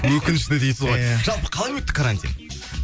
өкінішті дейсіз ғой иә жалпы қалай өтті карантин